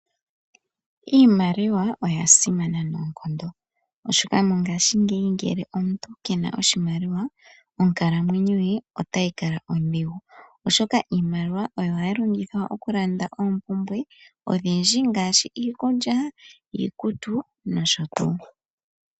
Iimaliwa oya simana noonkondo oshoka mongaashingeyi ngele omuntu kena oshimaliwa, onkalamwenyo ye otayi kala ondhigu oshoka iimaliwa ohayi longithwa okulanda oompumbwe odhindji ngaashi iikulya, iikutu noshotuu.